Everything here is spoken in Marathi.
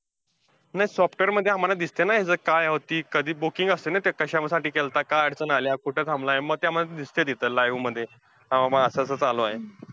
नाही software मध्ये आम्हांला दिसतंय ना. हेच काय होती, कधी booking असतंय ना ते, कशासाठी केलंता, काय अडचण आलीया, कुठं थांबलाय. मग ते आम्हांला दिसतंय तिथे live मध्ये. हा बाबा असं असं चालू आहे.